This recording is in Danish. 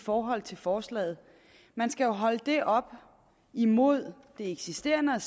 forhold til forslaget man skal jo holde det op imod det eksisterende og